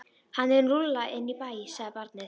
Hann er lúlla inn í bæ, sagði barnið.